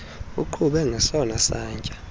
uqhube ngesona satya